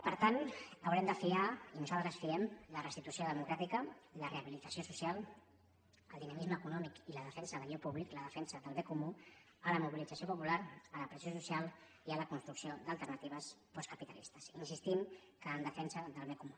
per tant haurem de fiar i nosaltres ho fiem la restitució democràtica la rehabilitació social el dinamisme econòmic i la defensa d’allò públic i la defensa del bé comú a la mobilització popular a la pressió social i a la construcció d’alternatives postcapitalistes i insistim que en defensa del bé comú